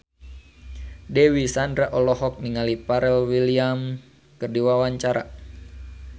Dewi Sandra olohok ningali Pharrell Williams keur diwawancara